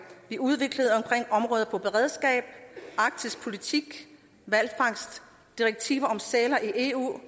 vi udviklede omkring områder som beredskab arktisk politik hvalfangst direktiver i eu